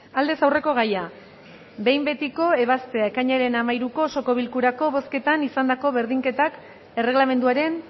aldez aurreko gaia behin betiko ebaztea ekainaren hamairuko osoko bilkurako bozketan izandako berdinketak erregelamenduaren